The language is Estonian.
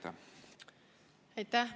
Aitäh!